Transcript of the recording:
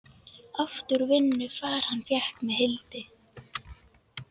Oft úr vinnu far hann fékk með Hildi.